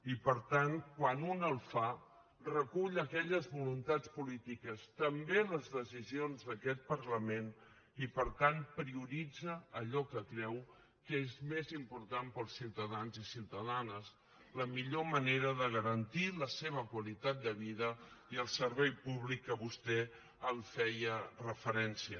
i per tant quan un el fa recull aquelles voluntats polítiques també les decisions d’aquest parlament i per tant prioritza allò que creu que és més important per als ciutadans i ciutadanes la millor manera de garantir la seva qualitat de vida i el servei públic a què vostè feia referència